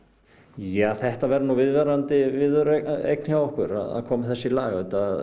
já þetta verður nú viðvarandi viðureign hjá okkur að koma þessu í lag